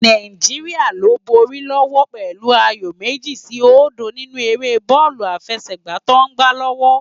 Náijiriá ló n bóri lòwò pèlú àyó mèji si ódó ninú éré bòlú àfèsègbá tò n gbá lòwò